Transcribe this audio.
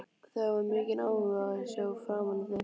Þau hafa mikinn áhuga á að sjá framan í þig.